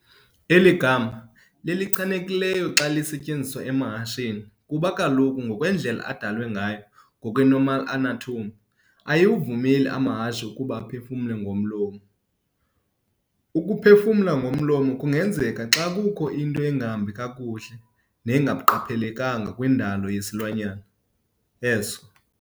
Eli gama lilelichanekileyo xa lisetyenziswa emahasheni, kuba kaloku ngokwendlela adalwe ngayo, ngokwe-normal anatomy, ayiwavumeli amahashe ukuba aphefumle ngomlomo. Ukuphefumla ngomlomo kungenzeka xa kukho into engahambi kakuhle nengaqhelekanga kwindalo yesilwanyana eso.